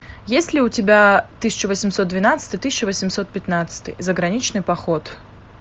есть ли у тебя тысяча восемьсот двенадцатый тысяча восемьсот пятнадцатый заграничный поход